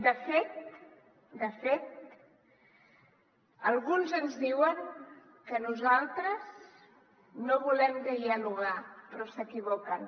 de fet de fet alguns ens diuen que nosaltres no volem dialogar però s’equivoquen